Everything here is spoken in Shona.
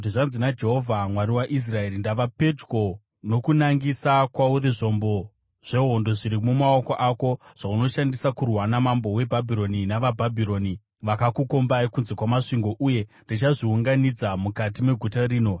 ‘Zvanzi naJehovha, Mwari waIsraeri: Ndava pedyo nokunangisa kwauri zvombo zvehondo zviri mumaoko ako, zvaunoshandisa kurwa namambo weBhabhironi navaBhabhironi vakakukombai kunze kwamasvingo. Uye ndichazviunganidza mukati meguta rino.